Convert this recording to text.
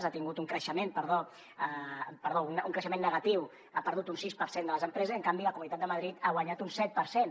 ha tingut un creixement perdó negatiu ha perdut un sis per cent de les empreses i en canvi la comunitat de madrid n’ha guanyat un set per cent